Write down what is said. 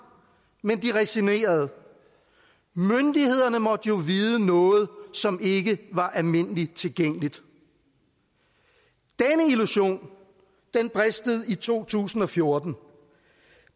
men de resignerede myndighederne måtte jo vide noget som ikke var almindelig tilgængeligt denne illusion bristede i to tusind og fjorten